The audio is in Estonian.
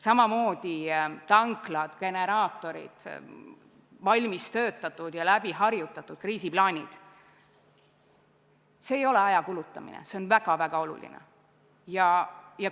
Samamoodi tanklad, generaatorid, valmis kirjutatud ja läbi harjutatud kriisiplaanid – see ei ole tühi aja kulutamine, see on väga-väga oluline.